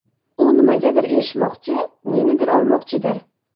U nimagadir erishmoqchi, nenidir olmoqchidir.